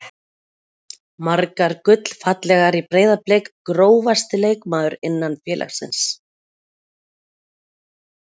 Margar gullfallegar í Breiðablik Grófasti leikmaður innan félagsins?